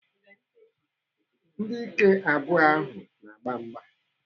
Ndị ike abụọ ahụ na-agba mgba.